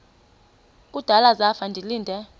kudala zafa ndilinde